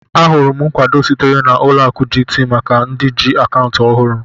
Ahụrụ m nkwado sitere na Ụlọ akụ GTB maka ndị ji akaụntụ ọhụrụ.